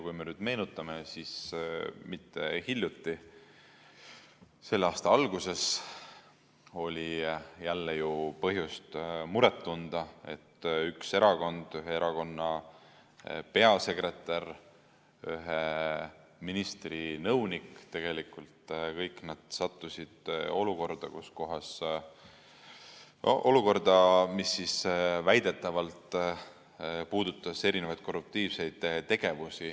Kui me nüüd meenutame, siis hiljuti, selle aasta alguses oli jälle põhjust muret tunda, sest üks erakond, ühe erakonna peasekretär, ühe ministri nõunik sattusid kõik olukorda, mis väidetavalt puudutas erinevaid korruptiivseid tegevusi.